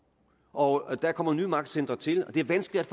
og der kommer nye magtcentre til og det er vanskeligt